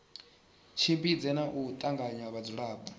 tshimbidze na u tanganya vhadzulapo